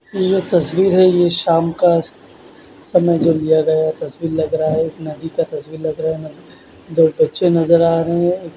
यह एक तस्वीर है शाम का तस्वीर लग रहा है नदी का तस्वीर लग रहा है दो बच्चे नज़र आ रहे है।